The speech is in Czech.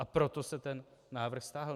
A proto se ten návrh stáhl.